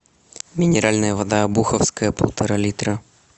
минеральная вода обуховская полтора литра